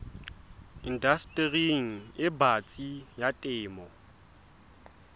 indastering e batsi ya temo